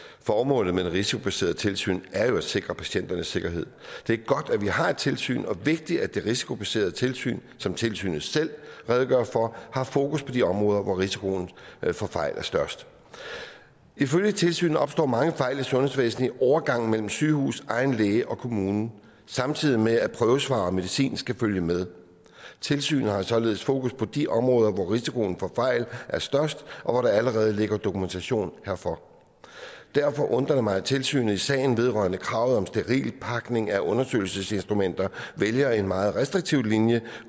formålet med det risikobaserede tilsyn er jo at sikre patienternes sikkerhed det er godt at vi har et tilsyn og vigtigt at det risikobaserede tilsyn som tilsynet selv redegør for har fokus på de områder hvor risikoen for fejl er størst ifølge tilsynet opstår mange fejl i sundhedsvæsenet i overgangen mellem sygehuset egen læge og kommunen samtidig med at prøvesvar og medicin skal følge med tilsynet har således fokus på de områder hvor risikoen for fejl er størst og hvor der allerede ligger dokumentation herfor derfor undrer det mig at tilsynet i sagen vedrørende kravet om sterilpakning af undersøgelsesinstrumenter vælger en meget restriktiv linje